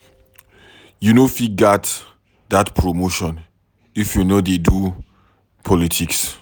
You no fit get dat promotion if you no dey do politics.